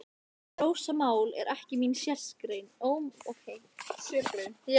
Rósamál er ekki mín sérgrein, sagði ég í styttingi.